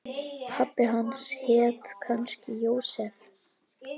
Pabbi hans hét kannski Jósef.